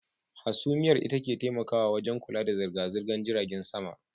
Hasumiyar ita ke taimakawa wajen kula da zirga-zirgan jiragen sama.